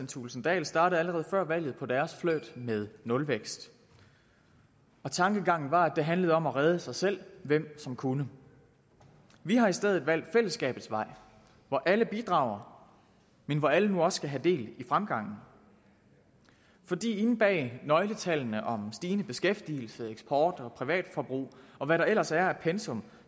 thulesen dahl startede allerede før valget på deres flirt med nulvækst og tankegangen var at det handlede om at redde sig selv hvem som kunne vi har i stedet valgt fællesskabets vej hvor alle bidrager men hvor alle nu også skal have del i fremgangen for inde bag nøgletallene om stigende beskæftigelse eksport og privatforbrug og hvad der ellers er af pensum